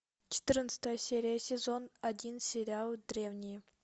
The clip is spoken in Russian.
четырнадцатая серия сезон один сериал древние